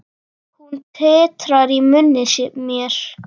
Hún titrar í munni mér.